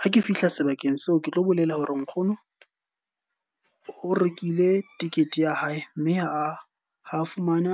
Ha ke fihla sebakeng seo ke tlo bolela hore nkgono o rekile ticket ya hae mme a ho fumana